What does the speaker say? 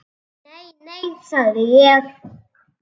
Nei, nei, sagði ég.